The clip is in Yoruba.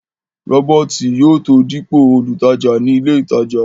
rọ́bọ̀tì yóò tó dípò olùtajà ní ilé ìtajà